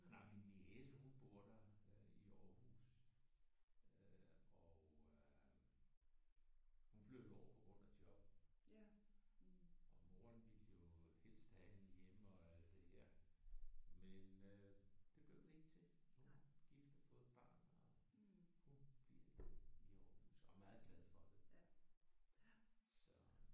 Nej min niece hun bor der øh i Aarhus øh og øh hun flyttede derover på grund af job. Og moderen ville jo helst have hende hjemme og alt det her men øh det blev det ikke til. Nu er hun er gift og har fået et barn. Hun bliver i Aarhus og er meget glad for det så